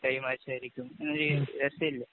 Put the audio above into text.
Tie മാച്ചായിരിക്കും. ഇങ്ങനെ ചെയ്യാന്‍